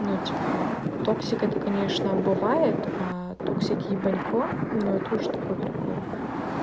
но типа токсик это конечно убывает токсики-ебанько ну это уже такой прикол